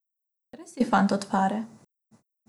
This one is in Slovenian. Res si fant od fare.